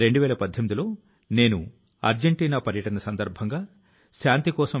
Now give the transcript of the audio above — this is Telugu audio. పరిశుభ్రత ఉన్నప్పుడే మన బీచ్ లు మన పర్వతాలు సందర్శించడానికి అనువు గా ఉంటాయి